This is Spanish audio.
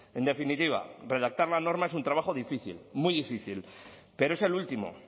en definitiva redactar la norma es un trabajo difícil muy difícil pero es el último